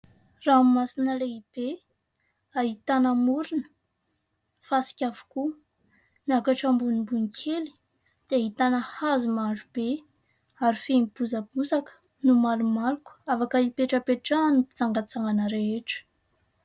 Ranomasina lehibe ahitana morony ; fasika avokoa ; miakatra ambonimbony kely dia ahitana hazo maro be ary feno bozabozaka no malomaloka ; afaka hipetrapetrahan'ny mpitsangatsangana rehetra.